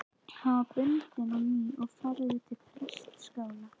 Hann var bundinn á ný og færður til prestaskála.